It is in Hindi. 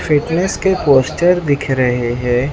फिटनेस के पोस्चर दिख रहे है।